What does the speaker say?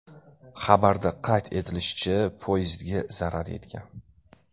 Xabarda qayd etilishicha, poyezdga zarar yetgan.